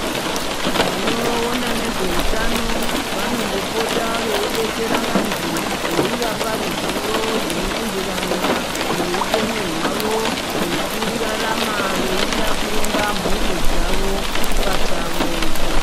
Vanoona nezveutano vanombopota veidetsera vanthu veivapa ruzivo zvinoenderana neupenyu hwavo hwekurarama veida kuronga mhuri dzavo pachavo.